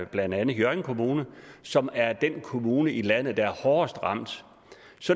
blandt andet hjørring kommune som er den kommune i landet der er hårdest ramt